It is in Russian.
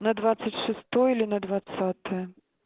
на двадцать шестое или на двадцатое